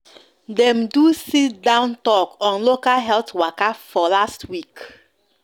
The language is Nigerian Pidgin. dem do sit-down talk on local health waka for last week